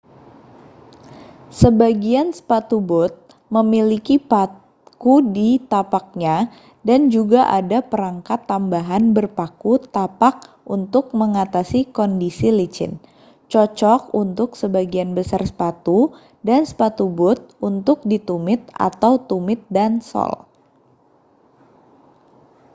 sebagian sepatu bot memiliki paku di tapaknya dan juga ada perangkat tambahan berpaku tapak untuk mengatasi kondisi licin cocok untuk sebagian besar sepatu dan sepatu bot untuk di tumit atau tumit dan sol